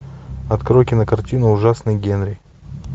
открой кинокартину ужасный генри